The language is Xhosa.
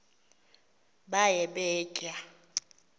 baye bee tyaa